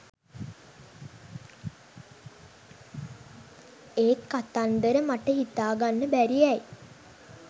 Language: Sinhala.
ඒත් කතන්දර මට හිතාගන්න බැරි ඇයි